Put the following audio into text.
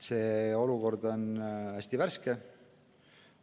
See olukord on hästi värske.